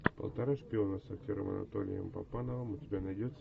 полтора шпиона с актером анатолием папановым у тебя найдется